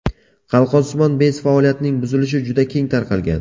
Qalqonsimon bez faoliyatining buzilishi juda keng tarqalgan.